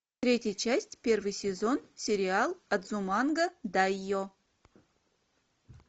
третья часть первый сезон сериал адзуманга дайо